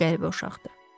Çox qəribə uşaqdır.